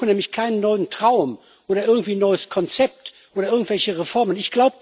Sie suchen nämlich keinen neuen Traum oder irgendwie ein neues Konzept oder irgendwelche Reformen.